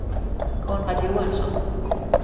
Konrad Johansson